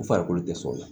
U farikolo tɛ sɔn u la